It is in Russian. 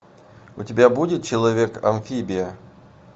у тебя будет человек амфибия